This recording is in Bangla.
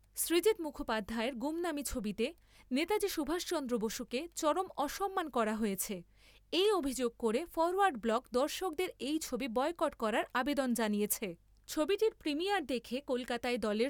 সৃজিত মুখোপাধ্যায়ের গুমনামি ছবিতে নেতাজি সুভাষচন্দ্র বসুকে চরম অসম্মান করা হয়েছে , এই অভিযোগ করে ফরোয়ার্ড ব্লক দর্শকদের এই ছবি বয়কট করার আবেদন জানিয়েছে। ছবিটির প্রিমিয়ার দেখে কলকাতায় দলের